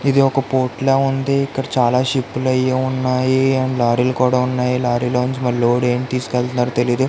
ఇది వక పోర్ట్ లాగా ఉంది. ఇక్కడ చాలా షిప్లు అయ్యి ఉన్నాయి అండ్ లారీ లు కూడా ఉన్నాయి .